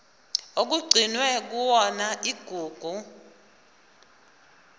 okugcinwe kuyona igugu